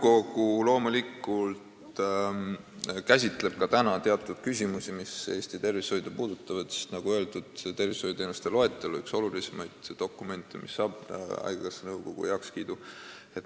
Nõukogu loomulikult käsitleb ka nüüd teatud küsimusi, mis Eesti tervishoidu puudutavad, sest nagu öeldud, tervishoiuteenuste loetelu on üks olulisemaid dokumente, mis saab haigekassa nõukogu heakskiidu.